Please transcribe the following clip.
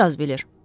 Bir az bilir.